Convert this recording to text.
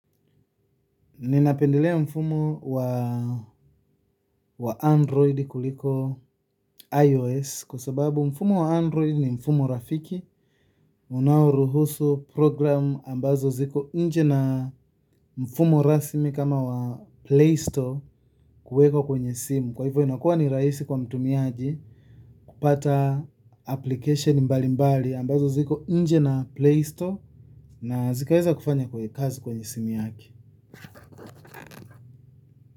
Ninapendelea mfumo wa android kuliko iOS kwa sababu mfumo wa android ni mfumo rafiki unaoruhusu program ambazo ziko inje na mfumo rasmi kama wa Play Store kuweko kwenye simu kwa hivyo inakuwa ni rahisi kwa mtumiaji kupata application mbali mbali ambazo ziko inje na Play Store na zikaweza kufanya kwenye kazi kwenye simu yake.